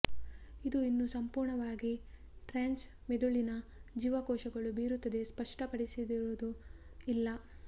ಇದು ಇನ್ನೂ ಸಂಪೂರ್ಣವಾಗಿ ಟ್ರಾನ್ಸ್ ಮಿದುಳಿನ ಜೀವಕೋಶಗಳು ಬೀರುತ್ತದೆ ಸ್ಪಷ್ಟಪಡಿಸಿದರು ಇಲ್ಲ